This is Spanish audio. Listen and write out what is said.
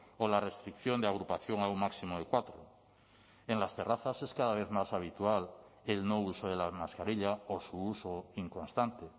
o la restricción de agrupación a un máximo de cuatro en las terrazas es cada vez más habitual el no uso de la mascarilla o su uso inconstante